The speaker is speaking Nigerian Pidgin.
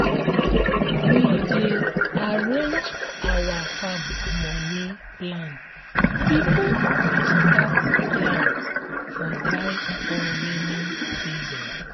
we dey arrange our farm moni plan before we start plant for dry or rainy season